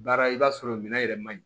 Baara i b'a sɔrɔ minɛn yɛrɛ maɲi